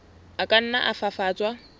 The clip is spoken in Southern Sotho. a ka nna a fafatswa